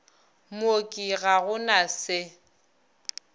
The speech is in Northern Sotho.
mooki ga go na se